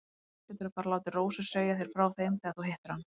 Annars geturðu bara látið Rósu segja þér frá þeim þegar þú hittir hana.